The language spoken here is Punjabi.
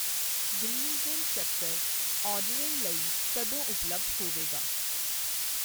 ਗ੍ਰੀਨਜ਼ਇਨ ਸੱਕਰ ਆਰਡਰਿੰਗ ਲਈ ਕਦੋਂ ਉਪਲਬਧ ਹੋਵੇਗਾ